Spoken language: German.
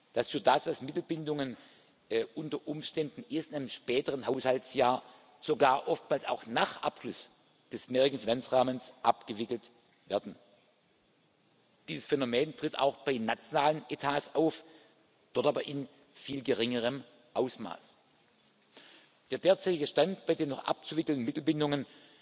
Das führt dazu, dass Mittelbindungen unter Umständen erst einem späteren Haushaltsjahr sogar oftmals auch nach Abschluss des mehrjährigen Finanzrahmens abgewickelt werden. Dieses Phänomen tritt auch bei nationalen Etats auf, dort aber in viel geringerem Ausmaß. Der derzeitige Stand bei den noch abzuwickelnden Mittelbindungen